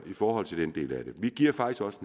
i forhold til den del af det vi giver faktisk også